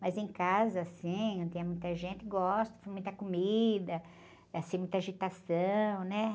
Mas em casa, assim, quando tem muita gente, gosto, com muita comida, assim, muita agitação, né?